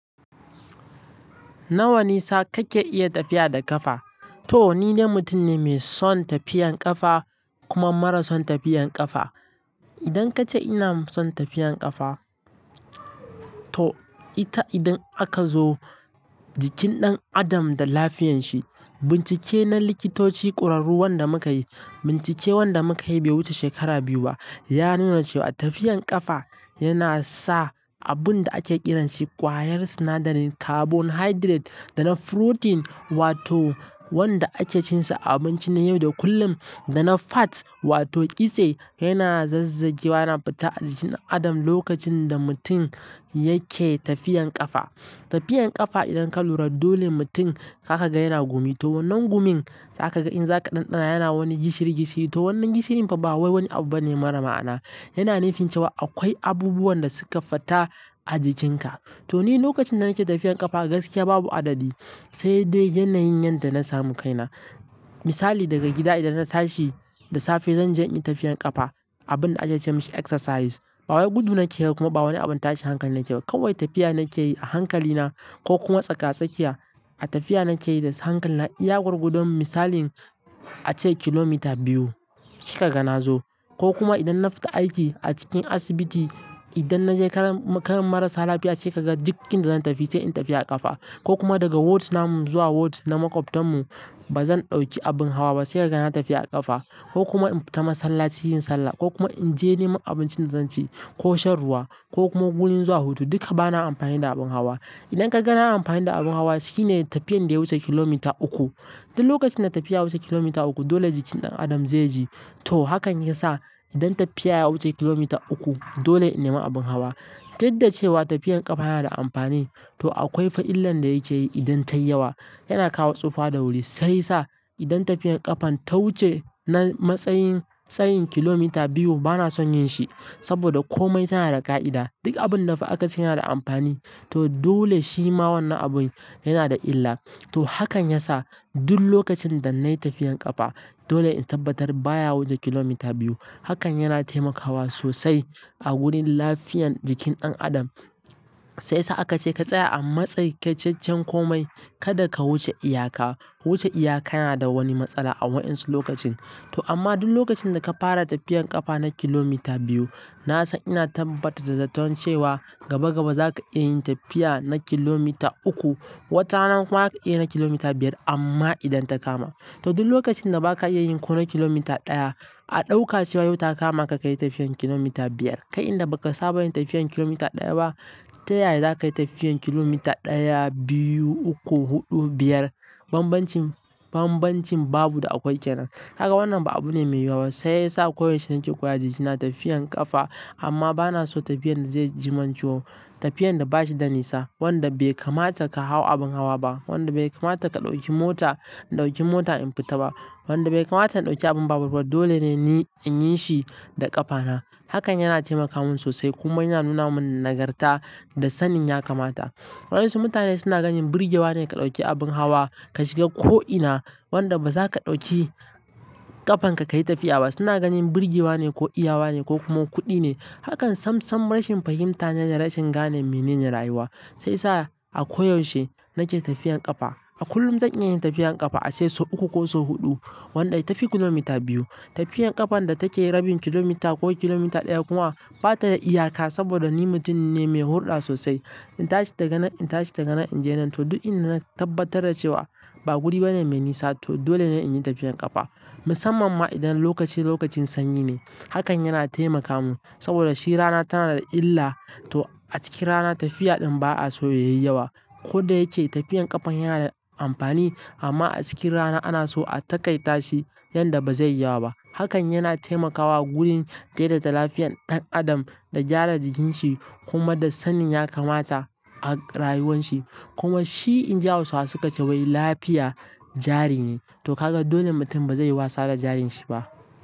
Nawa nisa kake iya tafiya da ƙafa? To ni de mutum ne mai son tafiyan ƙafa kuma mara son tafiyan ƙafa. To ni ne mutum ne mai son tafiyan ƙafa kuma mara son tafiyan ƙafa. To ita idan aka zo Jikin ɗan adam da lafiyanshi. Bincike na likitoci ƙwararru wanda muka yi, bincike wanda muka yi wanda bai wuce shekara biyu ba, ya nuna cewa tafiyan ƙafa yana sa abunda ake ƙiranshi ƙwayar sinadarin carbohydrates da na protein wato wanda ake cin sa a abinci na yau da kullum da na fats wato kitse yana zazzagewa, yana fita a jikin ɗan adam lokacin da mutum yake tafiyan ƙafa. Tafiyan ƙafa idan ka lura dole mutum za ka kaga yana gumi. To wannan gumin za ka ga in za ka ɗanɗana yana wani gishiri gishiri. To wannan gishirin fa ba wai wani abu ba ne mara ma'ana. Yana nufin cewa akwai abubuwan da suka fita a jikinka. To ni lokacin da nake tafiyan ƙafa gaskiya babu adadi sai dai yanayin yanda na samu kaina. Misali daga gida idan na tashi da safe zan je in yi tafiyan ƙafa, abun da ake ce masa exercise. Ba wai gudu nake yi ba kuma ba wani abun tashi hankali nake ba. Kawai tafiya nake yi a hankali na ko kuma tsaka tsakiya. A tafiya nake yi da hankali na, iya gwargwadon misalin ace kilomita biyu kika ga na zo. Ko kuma idan na fita aiki a cikin asibiti, idan na je karan, karan marasa lafiya se ka ga duk inda zan tafi sai in tafi a ƙafa. Ko kuma daga ward na zuwa ward na maƙwabtan mu ba zan ɗauki abin hawa ba sai ka ga na tafi a ƙafa. Ko kuma in fita masallaci yin sallah ko kuma in je neman abincin da zan ci ko shan ruwa ko kuma gurin zuwa hutu duka ba na amfani da abin hawa. Idan ka ga na amfani da abin hawa shine tafiyan da ya wuce kilomita uku. Duk lokacin da tafiya wuce kilomita uku dole jikin ɗan adam zai ji. To hakan ya sa idan tafiya ya wuce kilomita uku dole in nema abin hawa. Duk da cewa tafiyan ƙafa yana da amfani to akwai fa illan da yake yi idan tayi yawa. Yana kawo tsufa da wuri sai sa idan tafiyan ƙafan ta wuce na matsayin tsayin kilomita biyu ba na son yin shi saboda komai tana da ƙa'ida. Duk abun da fa aka ce yana da amfani to dole shi ma wannan abun yana da illa. To hakan ya sa duk lokacin da na yi tafiyan ƙafa dole in tabbatar baya wuce kilomita biyu. Hakan yana taimakawa sosai a gurin lafiyan jikin ɗan adam sai sa aka ce ka tsaya a matsakaicaccen komai kada ka wuce iyaka. Wuce iyaka yana da wani matsala a waɗansu lokacin. To amma duk lokacin da ka fara tafiyan ƙafa na kilomita biyu na san ina tabbatar da zaton cewan gaba gaba za ka iya yin tafiya na kilomita uku. Wata rana kuma za ka iya na kilomita biyar amma idan ta kama. To duk lokacin da ba ka iya yin ko na kilomita ɗaya a ɗauka cewa yau ta kama ka ka yi tafiyan kilomita biyar kai inda baka saba yin tafiyan kilomita ɗaya ba, ta yaya za ka yi tafiyan kilomita ɗaya, biyu, uku, huɗu, biyar? Banbancin, banbancin babu da akwai kenan. Kaga wannan ba abu ne mai yawa ba sai sa koyaushe nake koya jikina tafiyan ƙafa amma ba na so tafiyan da zai jiman ciwo tafiyan da bashi da nisa wanda bai kamata ka hau abin hawa ba wanda bai kamata ka ɗauki mota, in ɗauki mota in fita ba wanda bai kamata in ɗauki abin babur ba. Dole ne ni in yi shi da ƙafana. Hakan yana taimaka min sosai kuma yana nuna min nagarta da sannin ya kamata. Waɗansu mutane suna ganin birgewa ne ka ɗauki abin hawa ka shiga ko'ina wanda ba za ka ɗauki ƙafanka ka yi tafiya ba. Suna ganin birgewa ne ko iyawa ne ko kuma kuɗi ne. Hakan sam sam rashin fahimta ne da rashin gane mene ne rayuwa. Sai sa a koyaushe nake tafiyan ƙafa. A kullum zan iya tafiyan ƙafa ace sau uku ko sau huɗu wanda ya tafi kilomita biyu. Tafiyan ƙafan da take rabin kilomita ko kilomita ɗaya kuma bata da iyaka saboda ni mutum ne mai hulɗa sosai. In tashi daga nan, in tashi daga nan in je nan to duk inda na tabbatar da cewa ba guri bane mai nisa to dole ne in yi tafiyan ƙafa. Musamman ma idan lokaci lokacin sanyi ne. Hakan yana taimaka mu saboda shi rana tana da illa to a cikin rana tafiya ɗin ba'a so ya yi yawa. Kodayake tafiyan ƙafa yana da amfani amma a cikin rana ana so a taƙaita shi yanda bazai yi yawa ba. Hakan yana taimakawa gurin daidaita lafiyan ɗan adam da gyara jikinshi kuma da sannin ya kamata a rayuwan shi. Kuma shi in ji Hausawa suka ce wai lafiya jari ne to ka ga dole mutum bazai yi wasa da jarin shi ba.